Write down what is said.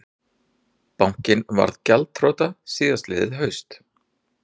Bankinn varð gjaldþrota síðastliðið haust